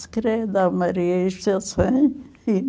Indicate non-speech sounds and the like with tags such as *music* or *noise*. Se quer dar *unintelligible*